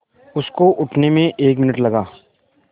उसको उठने में एक मिनट लगा